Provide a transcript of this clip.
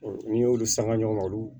N'i y'olu sanga ɲɔgɔn olu